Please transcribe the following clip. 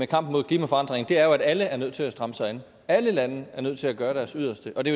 kampen mod klimaforandringer er jo at alle er nødt til at stramme sig an alle lande er nødt til at gøre deres yderste og det